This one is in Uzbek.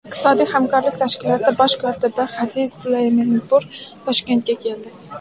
Iqtisodiy hamkorlik tashkiloti Bosh kotibi Hadi Suleymanpur Toshkentga keldi.